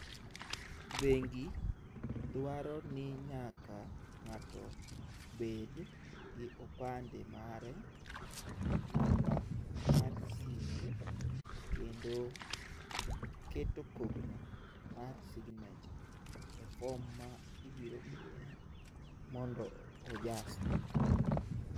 Bengi dwaro ni nyaka ng'ato bed gi opande mare, namba mar simu kendo keto kogno mar signature e form ma ibiro miye mondo ojasi.